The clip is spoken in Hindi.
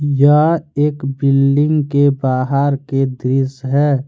यह एक बिल्डिंग के बाहर के दृश्य है।